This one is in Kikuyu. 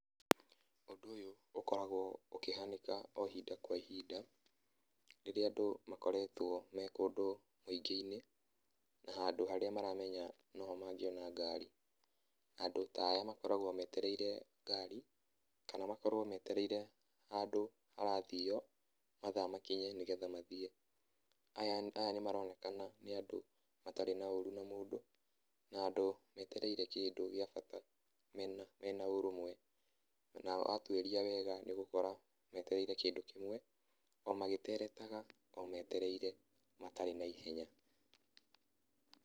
Ũndũ ũyũ ũkoragwo ũkĩhanĩka o ihinda kwa ihinda, rĩrĩa andũ makoretwo me kũndũ mũingĩ-inĩ na handũ harĩa maramenya noho mangĩona ngari. Nandũ ta aya makoragwo metereire ngari kana makorwo metereire handũ harathiywo mathaa makinye nĩgetha mathiĩ. Aya, aya nĩmaronekana nĩ andũ matarĩ na ũru na mũndũ, na andũ metereire kĩndũ gĩa bata mena, mena ũrũmwe, na watuiria wega nĩ ũgũkora metereire kĩndũ kĩmwe o magĩteretaga o metereire matarĩ na ihenya.